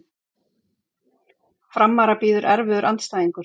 Framara bíður erfiður andstæðingur